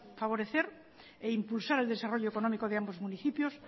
favorecer e impulsar el desarrollo económico de ambos municipios